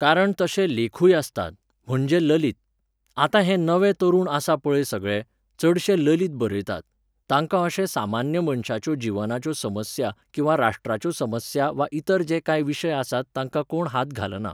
कारण तशे लेखूय आसतात, म्हणजे ललीत. आतां हे नवीन तरूण आसा पळय सगळे, चडशे ललीत बरयतात, तांकां अशें सामान्य मनशाच्यो जिवनाच्यो समस्या किंवां राष्ट्राच्यो समस्या वा इतर जे कांय विशय आसात तांकां कोण हात घालना